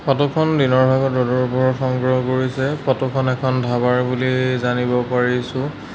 Photo খন দিনৰ ভাগত ৰ'দৰ পোহৰত সংগ্ৰহ কৰিছে ফটো খন এখন ধাবাৰ বুলি জানিব পাৰিছোঁ।